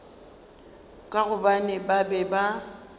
ka gobane ba be ba